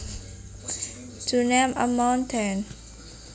to name a mountain